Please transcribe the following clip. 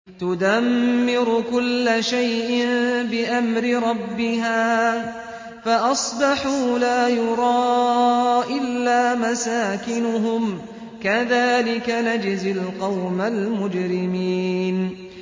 تُدَمِّرُ كُلَّ شَيْءٍ بِأَمْرِ رَبِّهَا فَأَصْبَحُوا لَا يُرَىٰ إِلَّا مَسَاكِنُهُمْ ۚ كَذَٰلِكَ نَجْزِي الْقَوْمَ الْمُجْرِمِينَ